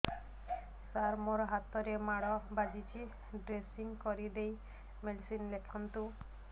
ସାର ମୋ ହାତରେ ମାଡ଼ ବାଜିଛି ଡ୍ରେସିଂ କରିଦେଇ ମେଡିସିନ ଲେଖନ୍ତୁ